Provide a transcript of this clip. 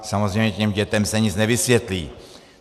Samozřejmě těm dětem se nic nevysvětlí.